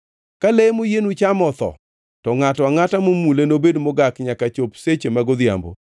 “ ‘Ka le moyienu chamo otho, to ngʼato angʼata momule nobed mogak nyaka chop seche mag odhiambo.